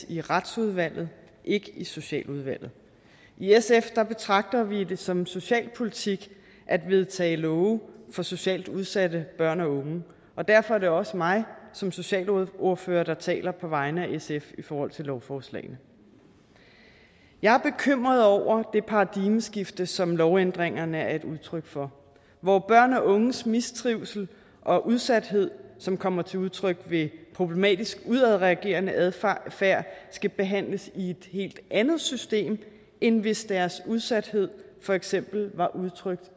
i retsudvalget ikke i socialudvalget i sf betragter vi det som socialpolitik at vedtage love for socialt udsatte børn og unge og derfor er det også mig som socialordfører der taler på vegne af sf i forhold til lovforslagene jeg er bekymret over det paradigmeskifte som lovændringerne er et udtryk for hvor børn og unges mistrivsel og udsathed som kommer til udtryk ved problematisk udadreagerende adfærd skal behandles i et helt andet system end hvis deres udsathed for eksempel var udtrykt